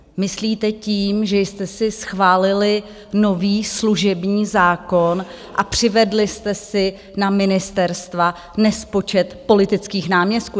Myslíte tím, že jste si schválili nový služební zákon a přivedli jste si na ministerstva nespočet politických náměstků?